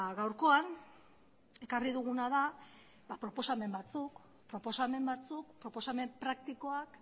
gaurkoan ekarri duguna da proposamen batzuk proposamen batzuk proposamen praktikoak